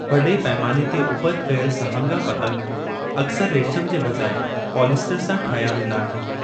वडे॒ पैमाने ते उपति कयलु सहांगा पतंग अक्सर रेशमि जे बजाइ पॉलिएस्टर सां ठाहिया वेंदा आहिनि।